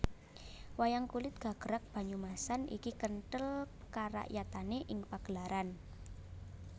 Wayang kulit gagrag Banyumasan iki kenthel karakyatane ing pagelaran